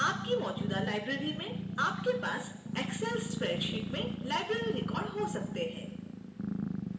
आपकी मौजूदा library में आपके पास excel spreadsheet में library records हो सकते हैं